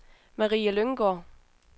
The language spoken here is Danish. Marie Lynggaard